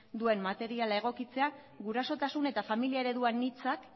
duen materiala egokitzea gurasotasun eta familia eredu anitzak